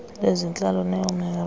lwezentlalo uneo moerane